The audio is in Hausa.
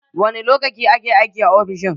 Wani lokaci ake aiki a ofishin?